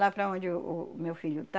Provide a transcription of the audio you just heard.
Lá para onde o o meu filho tá.